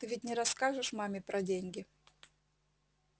ты ведь не расскажешь маме про деньги